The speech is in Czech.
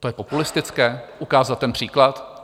To je populistické, ukázat ten příklad?